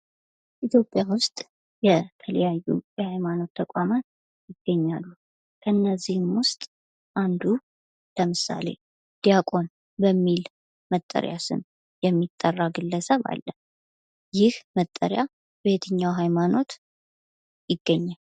ኢትዮጵያ ውስጥ የተለያዩ የሐይማኖት ተቋማት ይገኛሉ። ከእነዚህም ውስጥ አንዱ ለምሳሌ ዲያቆን በሚል መጠሪያ ስም የሚጠራ ግለሰብ አለ። ይኽ መጠሪያ በየትኛው ሀይማኖት ይገኛል?